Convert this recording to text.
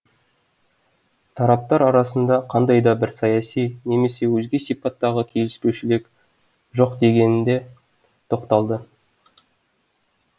тараптар арасында қандай да бір саяси немесе өзге сипаттағы келіспеушіліктер жоқ екендігіне тоқталды